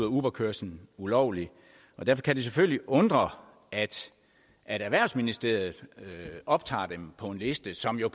uberkørslen ulovlig og derfor kan det selvfølgelig undre at erhvervsministeriet optager dem på en liste som jo